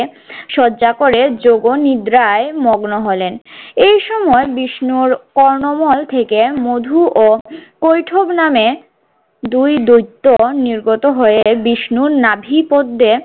সজ্জা করে যোগনিদ্রায় মগ্ন হলেন। এই সময় বিষ্ণুর কর্ণমল থেকে মধু ও কৈঠব নামে দুই দৈত্য নির্গত হয়ে বিষ্ণুর নাভিপদ্দ্যে